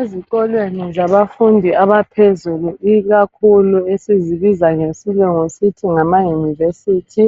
ezikolweni zabafundi abaphezulu ikakhulu esizibiza ngesilungu sithi ngama university